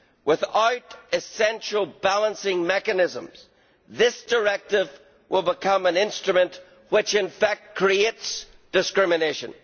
Without essential balancing mechanisms, this directive will become an instrument which in fact creates discrimination.